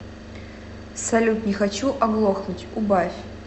салют не хочу оглохнуть убавь